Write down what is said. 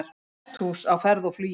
Hesthús á ferð og flugi